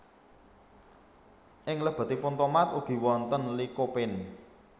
Ing lebetipun tomat ugi wonten Lycopene